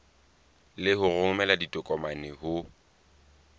le ho romela ditokomane ho